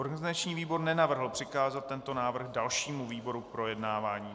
Organizační výbor nenavrhl přikázat tento návrh dalšímu výboru k projednávání.